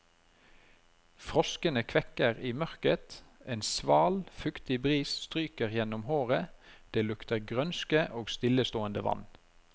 Froskene kvekker i mørket, en sval, fuktig bris stryker gjennom håret, det lukter grønske og stillestående vann.